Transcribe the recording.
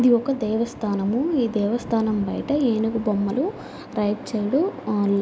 ఇది ఒక దేవస్థానము. ఈ దేవస్థానము బయట ఏనుగు బొమ్మలు. Right side --